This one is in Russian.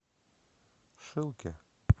шилке